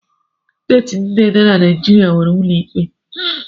Steeti niile nọ na Naijiria nwere ụlọ ikpe.